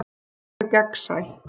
Orð hennar eru gegnsæ.